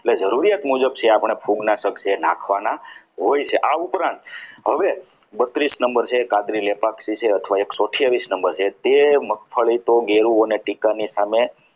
એટલે જરૂરિયાત મુજબ છે ભોગના શક્ય નાખવાના હોય છે આ ઉપરાંત હવે બત્રીસ number છે કાતરી લેવા પાક ઝેપાક છે અથવા એકસો અથીયાવીસ number છે તે મગફળી તો ઘેરુ અને ટેકાની સામે